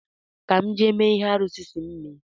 Ka m jee mee ihe arụsị̣ si m mee